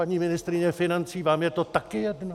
Paní ministryně financí, vám je to taky jedno?